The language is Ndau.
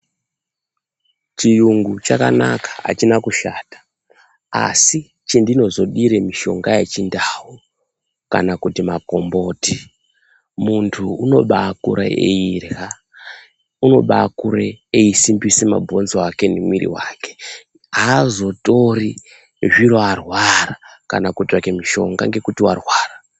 Chiyungu vhakanaka achina kushata asi chendinozodire mushonga yechinda u kana kuti makomboti muntu unobakure eirya unobakure eisimbise mabhonzo ake mumwiri wake aazotori zvito arwara kana kutsvake mushonga ngekuti warwara.